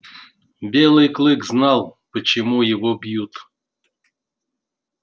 белый клык знал почему его бьют